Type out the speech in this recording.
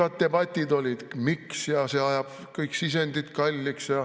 Pikad debatid olid, et miks, ja see ajab kõik sisendid kalliks.